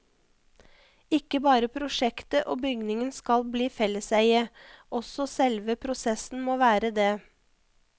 Ikke bare prosjektet og bygningen skal bli felleseie, også selve prosessen må være det.